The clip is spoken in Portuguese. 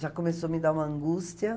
Já começou a me dar uma angústia.